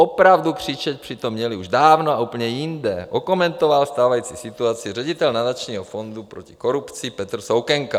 Opravdu křičet přitom měli už dávno a úplně jinde, okomentoval stávající situaci ředitel Nadačního fondu proti korupci Petr Soukenka.